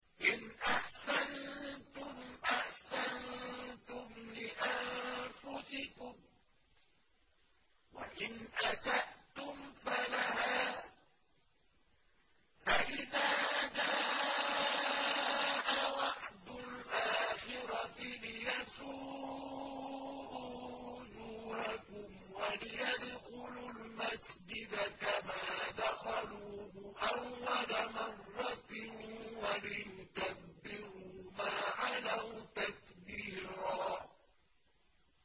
إِنْ أَحْسَنتُمْ أَحْسَنتُمْ لِأَنفُسِكُمْ ۖ وَإِنْ أَسَأْتُمْ فَلَهَا ۚ فَإِذَا جَاءَ وَعْدُ الْآخِرَةِ لِيَسُوءُوا وُجُوهَكُمْ وَلِيَدْخُلُوا الْمَسْجِدَ كَمَا دَخَلُوهُ أَوَّلَ مَرَّةٍ وَلِيُتَبِّرُوا مَا عَلَوْا تَتْبِيرًا